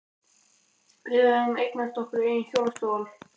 Við höfðum eignast okkar eigin hjólastól.